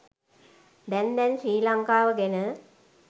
දැන් දැන් ශ්‍රී ලංකාව ගැන